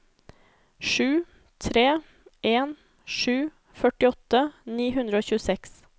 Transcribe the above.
sju tre en sju førtiåtte ni hundre og tjueseks